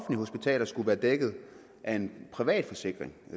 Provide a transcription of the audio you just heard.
hospitaler skulle være dækket af en privat forsikring